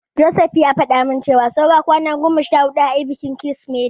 Joseph ya faɗa min cewa saura kwana goma sha huɗu ayi bikin Kirsimeti.